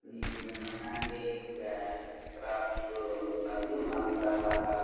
ఈ handicrafts నందు మనకి రకరకాల--